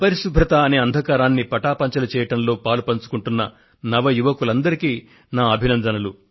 అపరిశుభ్రత అనే అంధకారాన్ని పటాపంచలు చేయడంలో పాలుపంచుకుంటున్న నవయువకులందరికీ నా అభినందనలు